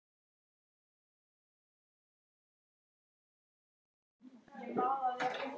Hlöður, hvað er í matinn?